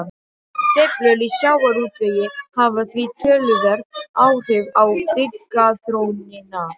Sveiflur í sjávarútvegi hafa því töluverð áhrif á byggðaþróunina.